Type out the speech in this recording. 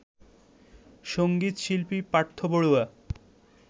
সঙ্গীত শিল্পী পার্থ বড়ুয়া